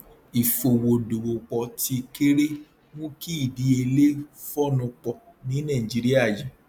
ìfowó dòwòpọ tí kéré mú kí ìdíyelé fóònù pọ ní nàìjíríà yìí